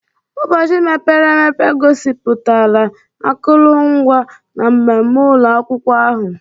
Ụbọchị mepere emepe gosipụtara akụrụngwa na mmemme ụlọ akwụkwọ ahụ.